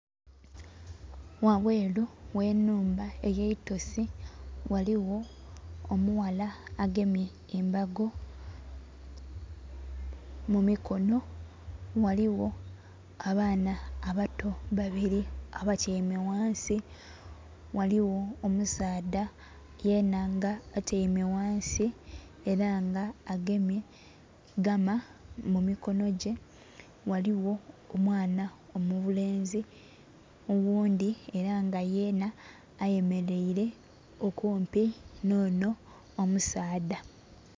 Wabweru w'ennhumba ey'eitosi waliwo omughala agemye embago mu mikono. Waliwo abaana abato babili abatyaime ghansi. Ghaligho omusaadha yena nga atyaime ghansi, ela nga agemye gama mu mikono gye. Ghaligho omwana omulenzi oghundhi ela nga yenha ayemeleile okumpi nh'onho omusaadha.